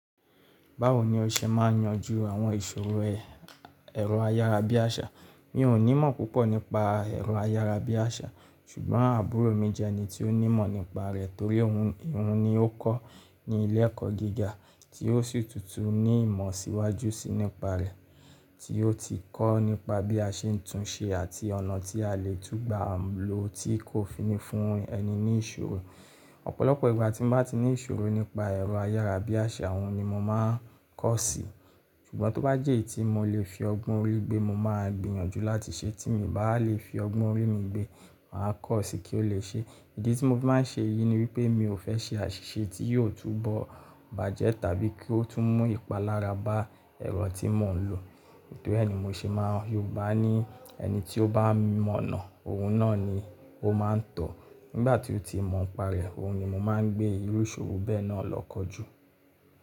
Báwo ni o ṣe máa ń yanjú àwọn ìṣòro ẹ̀rọ ayára bí àṣá? Mi ò ní mọ̀ púpọ̀ nípa ẹ̀rọ ayára bí àṣá ṣùgbọ́n àbúrò mi jẹ ẹni tí ó ní mọ̀ nípa rẹ̀ torí òhun ni ó kọ́ ní ilé ẹ̀kọ́ gíga tí ó sì tù ní ìmọ̀ síwájú síi nípa rẹ̀ tí ó ti kọ́ nípa bí a ṣe ń tún un ṣe àti ọ̀nà tí a lè tún gba lò tí kò fi ní fún ẹni ní ìṣòro. Ọ̀pọ̀lọpọ̀ ìgbà tí mo bá ti ní ìṣòro nípa ẹ̀rọ ayára bí àṣá òhun ni mo máa ń kọ̀ sí. Ṣùgbọ́n tó bá jẹ́ eyití mo lè fi ọgbọ́n orí gbé mo máa gbìyànjú láti ṣe tí mi bá lè fi ọgbọ́n orí mi gbé, mà á kọ̀ sí kí ó lè ṣe. Ìdí tí mo fi máa ń ṣe èyí ni wípé mi ò fẹ́ ṣe àṣìṣe tí yóò túbọ̀ bàjẹ́ tàbí kí ó tún mú ìpalára bá ẹ̀rọ tí mò ń lò. Tori e ni mo ṣe máa ń Yorùbá ní ẹni tí ó bá mọ̀nà òhun náà ni ó máa ń tọ̀. Nígbà tí ó ti mọ̀ n pa rẹ̀ òhun ni mo máa ń gbé irú ìṣòro bẹ́ẹ̀ náà lọ kọjú.